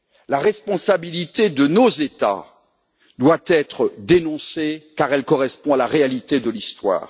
La responsabilité de nos États doit être dénoncée, car elle correspond à la réalité de l'histoire.